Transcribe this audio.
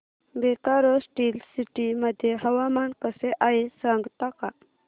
Bokaro steel city मध्ये हवामान कसे आहे सांगता का